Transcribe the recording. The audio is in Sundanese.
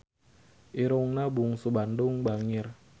Irungna Bungsu Bandung bangir